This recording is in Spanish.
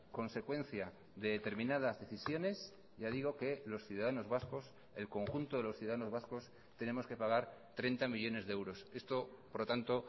consecuencia de determinadas decisiones ya digo que los ciudadanos vascos el conjunto de los ciudadanos vascos tenemos que pagar treinta millónes de euros esto por lo tanto